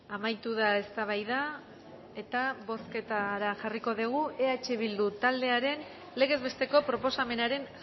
amaitu da eztabaida eta bozketara jarriko dugu eh bildu taldearen legez besteko proposamenaren